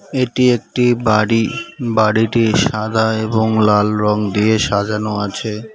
এটি একটি বাড়ি বাড়িটি সাদা এবং লাল রঙ দিয়ে সাজানো আছে।